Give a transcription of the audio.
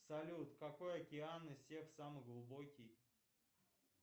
салют какой океан из всех самый глубокий